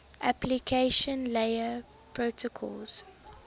application layer protocols